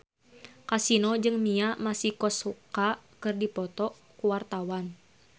Kasino jeung Mia Masikowska keur dipoto ku wartawan